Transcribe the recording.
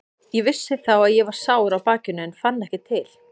Ég vissi þá að ég var sár á bakinu en ég fann ekki til.